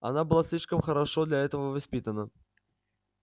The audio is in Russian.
она была слишком хорошо для этого воспитана